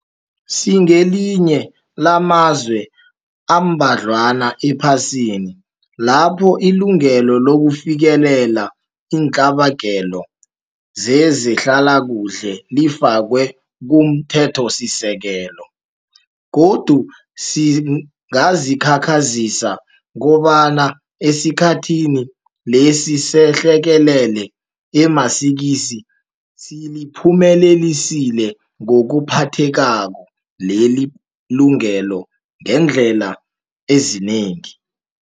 Singelinye lamazwe amba dlwana ephasini lapho ilungelo lokufikelela iintlabagelo zezehlalakuhle lifakwe kumThethosisekelo, godu singazikhakhazisa kobana esikhathini lesi sehlekelele emasikizi siliphumelelise ngokuphathekako leli lungelo ngeendlela ezinengi.